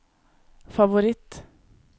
favoritt